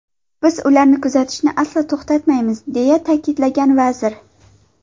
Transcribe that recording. Biz ularni kuzatishni aslo to‘xtatmaymiz”, deya ta’kidlagan vazir.